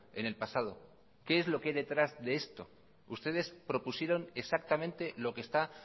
en el pasado qué es lo que hay detrás de esto ustedes propusieron exactamente lo que está